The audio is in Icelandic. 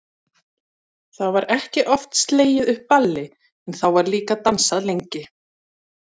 Það var ekki oft slegið upp balli en þá var líka dansað lengi.